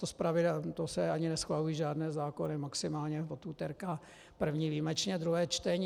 To se ani neschvalují žádné zákony, maximálně od úterka první, výjimečně druhé čtení.